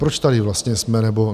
Proč tady vlastně jsme?